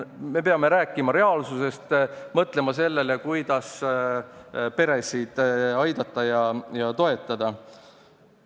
Me peame rääkima reaalsusest ning mõtlema sellele, kuidas peresid aidata ja toetada.